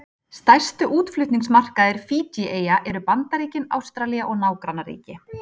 Stærstu útflutningsmarkaðir Fídjíeyja eru Bandaríkin, Ástralía og nágrannaríki.